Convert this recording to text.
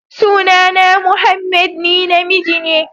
Sunana Mohammed, ni namiji ne.